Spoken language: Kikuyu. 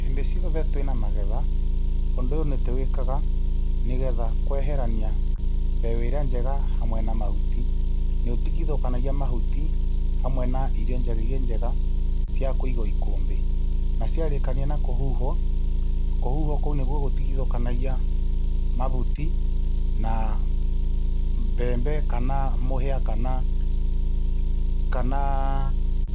Hĩndĩ ciothe twĩna magetha ũndũ ũyũ nĩ tũwĩkaga nĩ getha kweherania mbegũ ĩrĩa njega hamwe na mahuti. Nĩ ũtigithũkanagia mahuti hamwe na irio njega ciakũigwo ikũmbĩ, na ciarĩkania na kũhuhwo, kũhuhwo kũu nĩkuo gũtigithũkanagia mabuti na mbembe kana mũhĩa kana